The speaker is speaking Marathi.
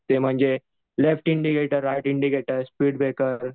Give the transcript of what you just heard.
left indicator right indicator speed breaker